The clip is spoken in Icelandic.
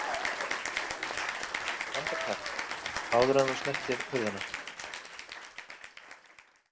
Andartak, áður en þú snertir hurðina.